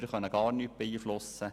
Wir können gar nichts beeinflussen.